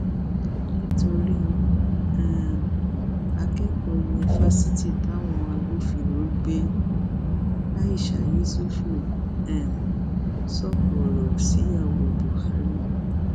nítorí um akẹkọọ yunifásitì táwọn agbófinró gbé aisha yesufu um sọkọ ọrọ síyàwó buhari